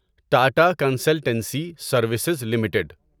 Tata consultancy services limited